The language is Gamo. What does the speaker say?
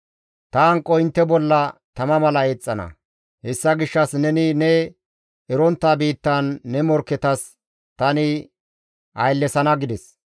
Ta hanqoy intte bolla tama mala eexxana; hessa gishshas neni ne erontta biittan ne morkketas tani nena ayllesana» gides.